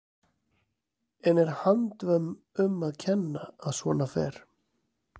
En er handvömm um að kenna að svona fer?